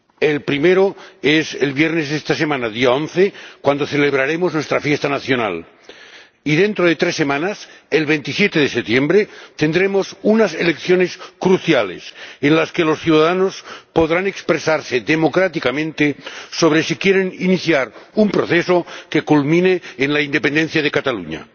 El primero es esta semana, el viernes día 11, cuando celebraremos nuestra fiesta nacional y, dentro de tres semanas, el 27 de septiembre, tendremos unas elecciones cruciales en las que los ciudadanos podrán expresarse democráticamente sobre si quieren iniciar un proceso que culmine con la independencia de Cataluña.